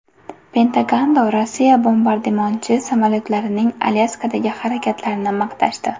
Pentagonda Rossiya bombardimonchi samolyotlarining Alyaskadagi harakatlarini maqtashdi.